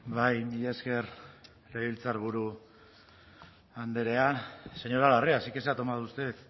bai mila esker legebiltzarburu andrea señora larrea sí que se ha tomado usted